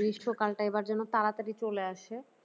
গ্রীষ্মকালটা এবার যেন খুব তাড়াতাড়ি চলে আসে।